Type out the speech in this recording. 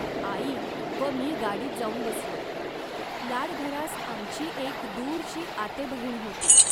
आई व मी गाडीत जाऊन बसलो. लाडघरास आमची एक दूरची आतेबहीण होती